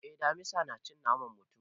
Eh, damisa na cin naman mutum.